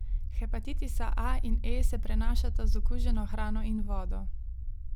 Hepatitisa A in E se prenašata z okuženo hrano in vodo.